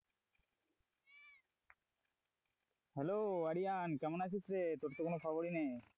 Hello Aryan কেমন আছিস রে, তোর তো কোন খবরই নেই?